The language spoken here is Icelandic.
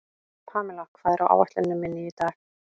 Pamela, hvað er á áætluninni minni í dag?